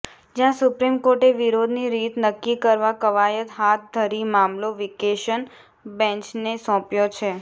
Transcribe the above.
જ્યાં સુપ્રીમ કોર્ટે વિરોધની રીત નક્કી કરવા કવાયત હાથ ધરી મામલો વેકેશન બેન્ચને સોંપ્યો છે